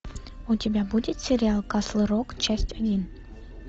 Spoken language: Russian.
у тебя будет сериал касл рок часть один